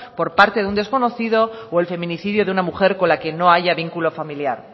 por parte de un desconocido o el feminicidio de una mujer con la que no haya vínculo familiar